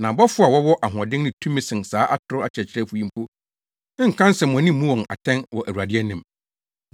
Na abɔfo a wɔwɔ ahoɔden ne tumi sen saa atoro akyerɛkyerɛfo yi mpo nka nsɛmmɔne mmu wɔn atɛn wɔ Awurade anim.